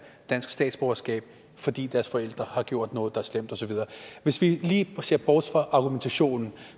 dansk statsborgerskab fordi deres forældre har gjort noget der er slemt og så videre hvis vi lige ser bort fra argumentationen